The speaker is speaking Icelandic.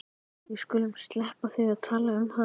Við skulum sleppa því að tala um hana.